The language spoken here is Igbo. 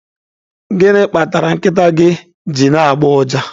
Gịnị kpatara nkịta gị ji na-agbọ ụja?